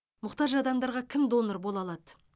мұқтаж адамдарға кім донор бола алады